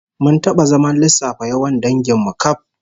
Mun taba zaman lissafa yawan dangin mu kaf